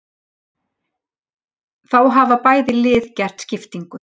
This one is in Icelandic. Þá hafa bæði lið gert skiptingu.